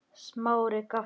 Smári gapti.